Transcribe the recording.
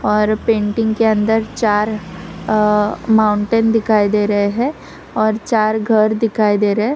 और पेंटिंग के अंदर चार अ माउंटेन दिखाई दे रहे हैं और चार घर दिखाई दे रहे है।